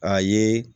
A ye